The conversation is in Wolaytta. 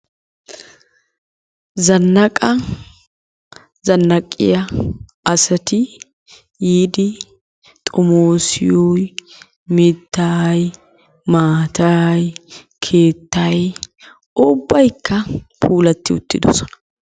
Zannaqaa zannaqiya asati yiidi xomoosiyoyi mittayi, maatayi, keettayi ubbaykka puulatti uttidosona